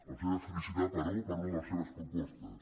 els he de felicitar però per una de les seves propostes